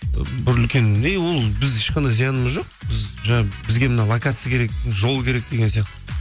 бір үлкен ей ол біз ешқандай зиянымыз жоқ бізге мына локация керек жол керек деген сияқты